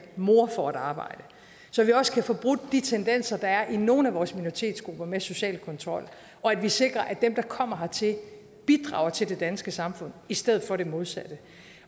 mor får et arbejde så vi også kan få brudt de tendenser der er i nogle af vores minoritetsgrupper med social kontrol og at vi sikrer at dem der kommer hertil bidrager til det danske samfund i stedet for det modsatte